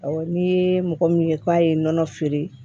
Awɔ n'i ye mɔgɔ min ye k'a ye nɔnɔ feere